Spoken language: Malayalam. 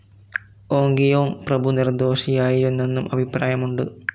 ഓങ്കിയോങ് പ്രഭു നിർദോഷിയായിരുന്നെന്നും അഭിപ്രായമുണ്ട്.